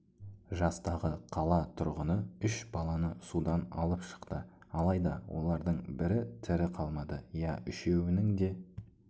жастағы қала тұрғыны үш баланы судан алып шықты алайда олардың бірі тірі қалмады иә үшеуінің де